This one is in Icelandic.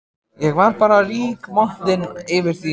Ég var bara rígmontin yfir því að